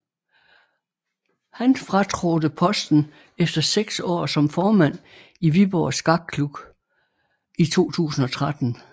Han fratrådte posten efter seks år som formand i Viborg Skakklub i 2013